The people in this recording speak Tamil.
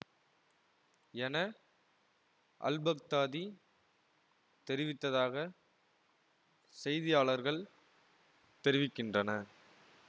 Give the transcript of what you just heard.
என அல்பக்தாதி தெரிவித்ததாக செய்தியாளர்கள் தெரிவிக்கின்றனர்